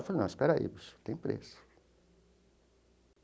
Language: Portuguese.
Eu falei, não, espera aí, tem preço.